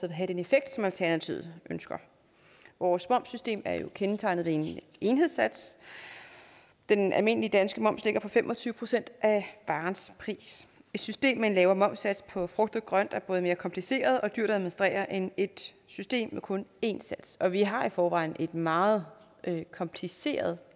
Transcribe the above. have den effekt som alternativet ønsker vores momssystem er jo kendetegnet ved en enhedssats den almindelige danske moms ligger på fem og tyve procent af varens pris et system med en lavere momssats på frugt og grønt er både mere kompliceret og dyrere at administrere end et system med kun én sats og vi har i forvejen et meget kompliceret